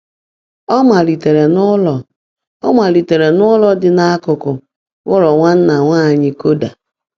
Ọ malitere n’ụlọ Ọ malitere n’ụlọ dị n’akụkụ ụlọ Nwanna Nwanyị Koda.